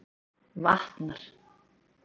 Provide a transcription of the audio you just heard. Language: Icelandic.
Vatnar